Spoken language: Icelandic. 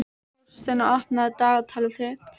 Þórsteina, opnaðu dagatalið mitt.